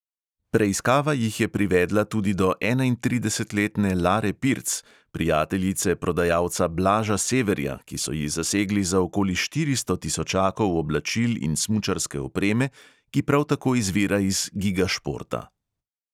Preiskava jih je privedla tudi do enaintridesetletne lare pirc, prijateljice prodajalca blaža severja, ki so ji zasegli za okoli štiristo tisočakov oblačil in smučarske opreme, ki prav tako izvira iz giga športa.